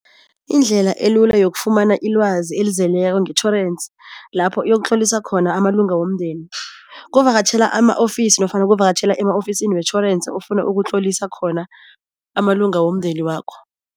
Indlela elula yokufumana ilwazi elizeleko ngetjhorensi, lapho uyokutlolisa khona amalunga womndeni. Kuvakatjhela ama-ofisi nofana kuvakatjhela ema-ofisini wetjhorensi ofuna ukutlolisa khona amalunga womndeni wakho.